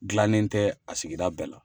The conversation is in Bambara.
gilannen tɛ a sigida bɛɛ la.